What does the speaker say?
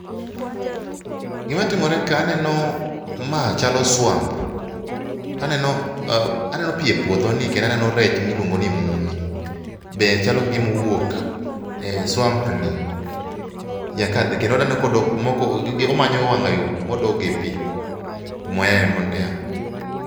Gima timore ka aneno ma chalo swamp to aneno pi e puodhoni to aneno rech miluongo ni mumi be chalo ka gima owuok e swamp ni kendo waneno komanyo wang yo modok go e pi kumoyae